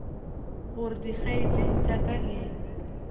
gore dikgaetšedi tša ka le